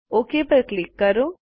okay પર click કરો